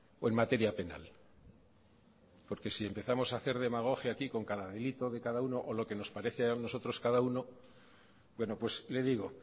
o en materia penal porque si empezamos a hacer demagogia aquí con cada amiguito de cada uno o lo que nos parece a nosotros cada uno bueno pues le digo